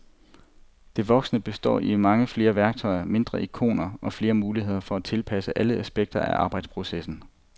Det voksne består i mange flere værktøjer, mindre ikoner og flere muligheder for at tilpasse alle aspekter af arbejdsprocessen.